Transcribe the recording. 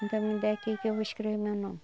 Então me dê aqui que eu vou escrever o meu nome.